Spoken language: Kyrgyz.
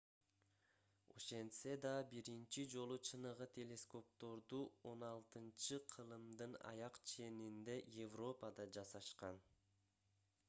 ошентсе да биринчи жолу чыныгы телескопторду 16-кылымдын аяк ченинде европада жасашкан